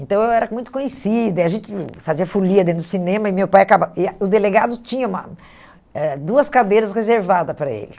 Então eu era muito conhecida, e a gente fazia folia dentro do cinema e o meu pai acaba e o delegado tinha uma eh duas cadeiras reservadas para ele.